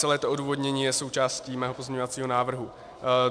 Celé to odůvodnění je součástí mého pozměňovacího návrhu.